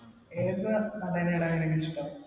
ഏത് നടനെയാടാ നിനക്കിഷ്ടം?